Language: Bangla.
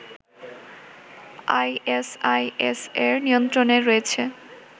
আইএসআইএস এর নিয়ন্ত্রণে রয়েছে